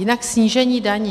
Jinak snížení daní.